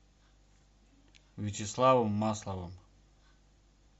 вячеславом масловым